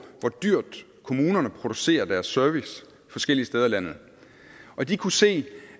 hvor dyrt kommunerne producerede deres service forskellige steder i landet og de kunne se